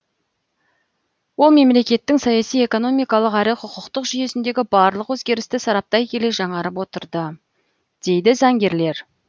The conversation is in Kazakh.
ол мемлекеттің саяси экономикалық әрі құқықтық жүйесіндегі барлық өзгерісті сараптай келе жаңарып отырады дейді заңгерлер